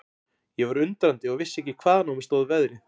Ég var undrandi og vissi ekki hvaðan á mig stóð veðrið.